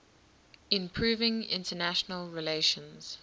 improving international relations